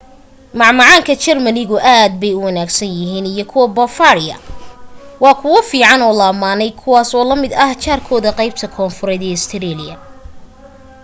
macmacaan ka german ku aad bay u wanaagsan yahiin i kuwa bavaria waa kuwa fican oo la amaaney kuwaas oo la mid ah jaar kooda qeybta koonfureed ee austria